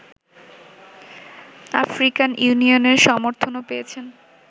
African ইউনিয়নের সমর্থনও পেয়েছেন